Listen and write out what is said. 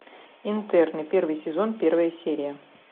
интерны первый сезон первая серия